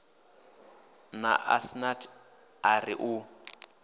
na asnath a ri u